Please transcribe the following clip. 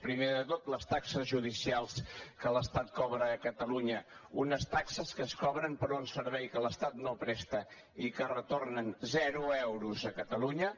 primer de tot les taxes judicials que l’estat cobra a catalunya unes taxes que es cobren per un servei que l’estat no presta i que retornen zero euros a catalunya